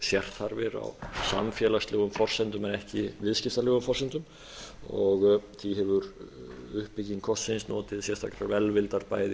sérþarfir á samfélagslegum forsendum en ekki viðskiptalegum forsendum og því hefur uppbygging safnsins notið sérstakrar velvildar bæði